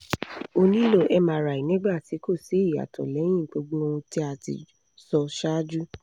o nilo mri nigba ti ko si iyato leyin gbogbo ohun ti a ti so saaju